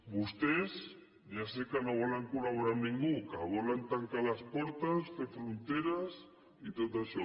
vostès ja sé que no volen col·laborar amb ningú que volen tancar les portes fer fronteres i tot això